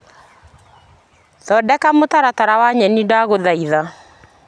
Thondeka mũtaratara wa nyeni ndagũthaitha .